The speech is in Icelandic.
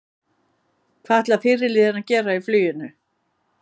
Hvað ætlar fyrirliðinn að gera í fluginu?